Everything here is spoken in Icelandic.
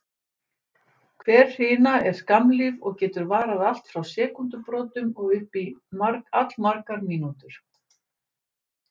Hver hrina er skammlíf og getur varað allt frá sekúndubrotum og upp í allmargar mínútur.